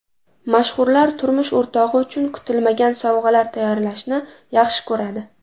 Mashhurlar turmush o‘rtog‘i uchun kutilmagan sovg‘alar tayyorlashni yaxshi ko‘radi.